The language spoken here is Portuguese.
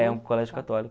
É, um colégio católico.